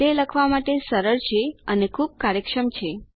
તે લખવા માટે સરળ છે અને ખૂબ કાર્યક્ષમ છે